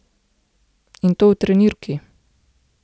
In to v trenirki.